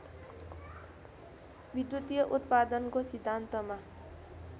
विद्युतीय उत्पादनको सिद्धान्तमा